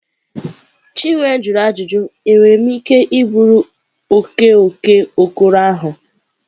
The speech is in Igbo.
Chinwe jụrụ ajụjụ, enwere m ike iburu oke oke okoro ahụ?